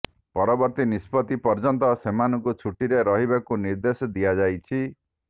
ପରବର୍ତ୍ତୀ ନିଷ୍ପତ୍ତି ପର୍ଯ୍ୟନ୍ତ ସେମାନଙ୍କୁ ଛୁଟିରେ ରହିବାକୁ ନିର୍ଦ୍ଦେଶ ଦିଆ ଯାଇଛି